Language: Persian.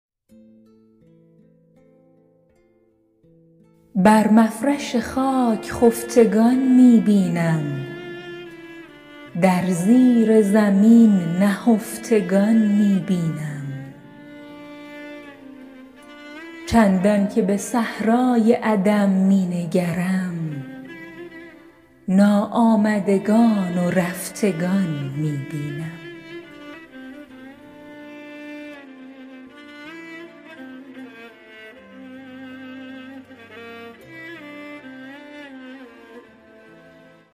بر مفرش خاک خفتگان می بینم در زیر زمین نهفتگان می بینم چندان که به صحرای عدم می نگرم ناآمدگان و رفتگان می بینم